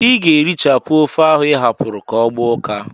I ga-erichapụ ofe ahụ ị hapụrụ ka ọ gbaa ụka!